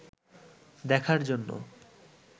দেখার জন্য